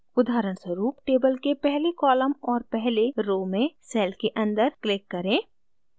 उदहारस्वरूप table के पहले column और पहले row में cell के अंदर click करें